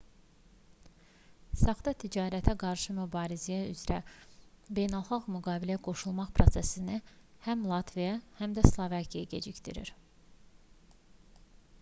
saxta ticarətə qarşı mübarizə üzrə beynəlxalq müqaviləyə qoşulma prosesini həm latviya həm də slovakiya gecikdirir